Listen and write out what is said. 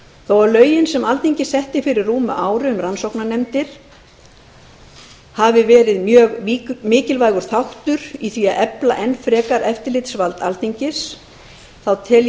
þó að lögin sem alþingi setti fyrir rúmu ári um rannsóknarnefndir hafi verið mjög mikilvægur þáttur í því að efla enn frekar eftirlitsvald alþingis tel ég